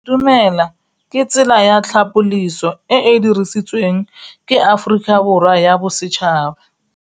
Go itumela ke tsela ya tlhapolisô e e dirisitsweng ke Aforika Borwa ya Bosetšhaba.